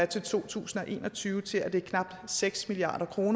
to tusind og en og tyve til at det er knap seks milliard kr